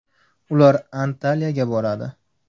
Ular Antaliyaga boradi.